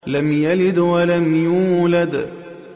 لَمْ يَلِدْ وَلَمْ يُولَدْ